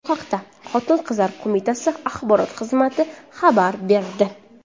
Bu haqda Xotin-qizlar qo‘mitasi axborot xizmati xabar berdi.